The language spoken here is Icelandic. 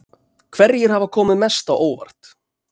Hverjir hafa komið mest á óvart?